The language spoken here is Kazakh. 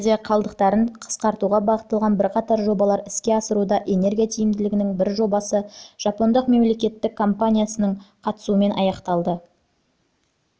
елде қалдықтарын қысқартуға бағытталған бірқатар жобалар іске асырылуда энергия тиімділігінің бір жобасы жапондық мемлекеттік компаниясының қатысуымен аяқталды бұл компания